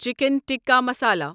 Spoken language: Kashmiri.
چِکن ٹکہ مسالا